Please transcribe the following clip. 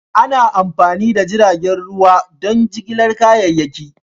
Ana amfani da jiragen ruwa don jigilar kayayyaki.